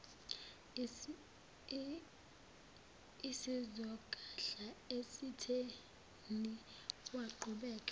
isizogadla esitheni waqhubeka